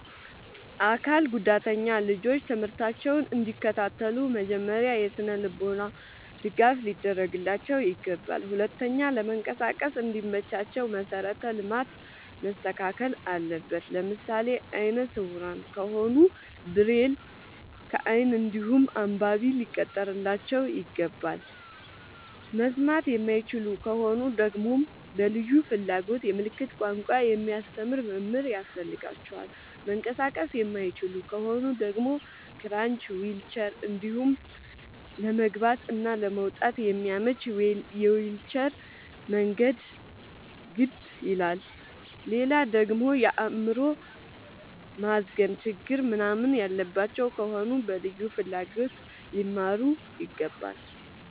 አካል ጉዳተኛ ልጆች ትምህርታቸውን እንዲ ከታተሉ መጀመሪያ የስነልቦና ድገፍ ሊደረግላቸው ይገባል። ሁለተኛ ለመንቀሳቀስ እንዲ መቻቸው መሰረተ ልማት መስተካከል አለበት። ለምሳሌ አይነስውራ ከሆኑ ብሬል ከይን እንዲሁም አንባቢ ሊቀጠርላቸው ይገባል። መስማት የማይችሉ ከሆኑ ደግመሞ በልዩ ፍላጎት የምልክት ቋንቋ የሚያስተምር መምህር ያስፈልጋቸዋል። መንቀሳቀስ የማይችሉ ከሆኑ ደግሞ ክራች ዊልቸር እንዲሁም ለመግባት እና ለመውጣት የሚያመች የዊልቸር መንገድ ግድ ይላላል። ሌላደግሞ የአይምሮ ማዝገም ችግር ምንናምን ያለባቸው ከሆኑ በልዩ ፍላጎት ሊማሩ ይገባል።